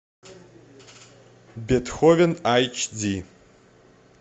бетховен айч ди